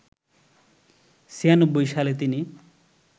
৯৬ সালে তিনি